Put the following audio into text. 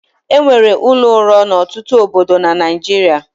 E nwere ụlọ ụrọ n'ọtụtụ obodo na Naịjirịa.